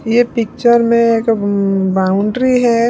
ये पिक्चर में एक वम्म बाउंड्री है।